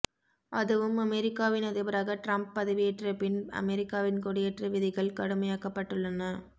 அதுவும் அமெரிக்காவின் அதிபராக ட்ரம்ப் பதவியேற்றபின் அமெரிக்காவின் குடியேற்ற விதிகள் கடுமையாக்கப்பட்டுள்ளன